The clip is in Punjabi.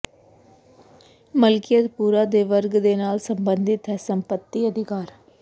ਮਲਕੀਅਤ ਪੂਰਾ ਦੇ ਵਰਗ ਦੇ ਨਾਲ ਸਬੰਧਿਤ ਹੈ ਸੰਪਤੀ ਅਧਿਕਾਰ